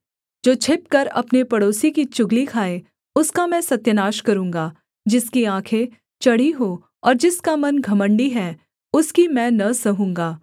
जो छिपकर अपने पड़ोसी की चुगली खाए उसका मैं सत्यानाश करूँगा जिसकी आँखें चढ़ी हों और जिसका मन घमण्डी है उसकी मैं न सहूँगा